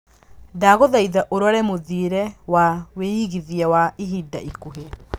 ndagũthaĩtha ũrore mũthĩire wa wĩigĩthĩa wa ĩhinda ĩkũhĩ